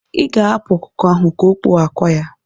Ị ga-ahapụ ọkụkọ ahụ ka o kpuo akwa ya.